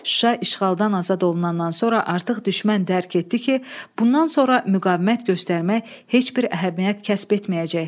Şuşa işğaldan azad olunandan sonra artıq düşmən dərk etdi ki, bundan sonra müqavimət göstərmək heç bir əhəmiyyət kəsb etməyəcək.